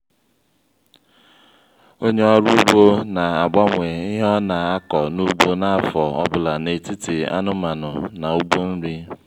ónyé ọrụ ugbo na-agbanwe ihe ọna akọ n'ugbo n'afọ ọbula n'etiti anụmanụ na ugbo nri